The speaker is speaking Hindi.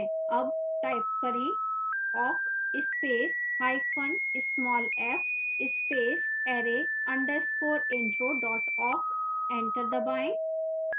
awk type करें awk space hyphen small f space array _ intro awk